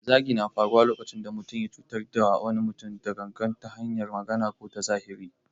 Zagi na faruwa lokacin da mutum ya cutar da wani mutum da gangan ta hanyar magana ko ta zahiri.